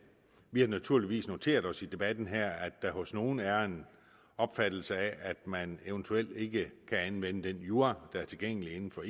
vi har naturligvis noteret os i debatten her at der hos nogle er en opfattelse af at man eventuelt ikke kan anvende den jura der er tilgængelig inden for